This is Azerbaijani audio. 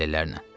Kəllələrlə.